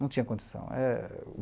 Não tinha condição. É